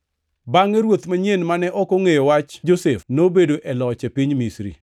Bangʼe ruoth manyien mane ok ongʼeyo wach Josef nobedo e loch e piny Misri. + 7:18 \+xt Wuo 1:8\+xt*